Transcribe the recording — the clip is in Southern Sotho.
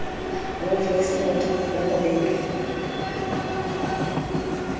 wolf whistled le ho betwa